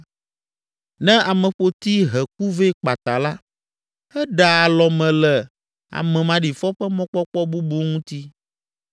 Ne ameƒoti he ku vɛ kpata la, eɖea alɔme le ame maɖifɔ ƒe mɔkpɔkpɔ bubu ŋuti.